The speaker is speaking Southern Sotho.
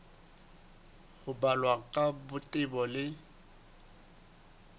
ho balwa ka botebo le